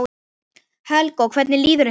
Helga: Og hvernig líður ykkur?